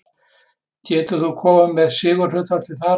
Getur þú komið með sigurhlutfallið þar?